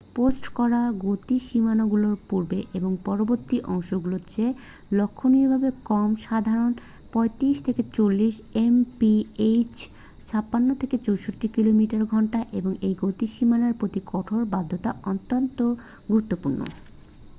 Post করা গতিসীমাগুলো পূর্বের এবং পরবর্তী অংশগুলোর চেয়ে লক্ষণীয়ভাবে কম - সাধারণত ৩৫-৪০ এমপিএইচ ৫৬-৬৪ কিমি/ঘন্টা - এবং এই গতিসীমার প্রতি কঠোর বাধ্যতা অত্যন্ত গুরুত্বপূর্ণ।